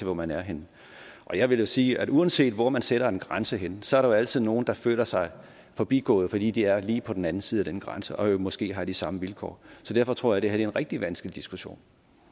hvor man er henne og jeg vil sige at uanset hvor man sætter en grænse henne er der jo altid nogen der føler sig forbigået fordi de er lige på den anden side af den grænse og måske har de samme vilkår derfor tror jeg det her er en rigtig vanskelig diskussion